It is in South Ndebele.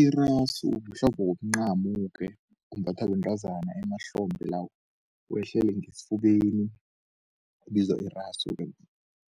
Irasu kuhlekuhle mncamo-ke umbathwa bentazana emahlombhe lawo, wehlele ngesifubeni ubizwa irasu-ke